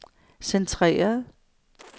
centreret